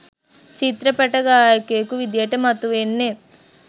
චිත්‍රපට ගායකයකු විදිහට මතුවෙන්නෙත්